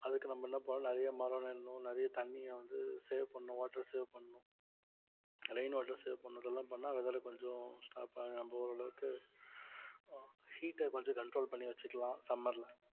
அதுக்கு நம்ம என்ன பண்ணணும் நிறைய மரம் நடணும் நிறைய தண்ணியை வந்து save பண்ணணும் water save பண்ணணும் rain water save பண்ணணும் இதெல்லாம் பண்ணா weather ஆ கொஞ்சம் stop நம்ம ஓரளவுக்கு ஆஹ் heat அ கொஞ்சம் control பண்ணி வைச்சுக்கலாம் summer ல